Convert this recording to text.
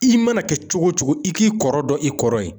I mana kɛ cogo o cogo i k'i kɔrɔ dɔn i kɔrɔ ye